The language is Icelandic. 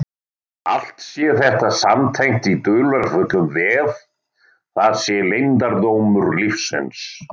Allt sé þetta samtengt í dularfullum vef, það sé leyndardómur lífsins.